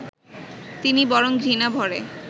তিনি বরং ঘৃণাভরে